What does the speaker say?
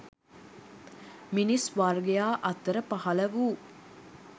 මිනිස් වර්ගයා අතර පහළ වූ